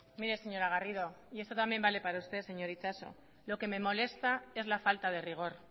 mire señora garrido y esto también vale para usted señor itxaso lo que me molesta es la falta de rigor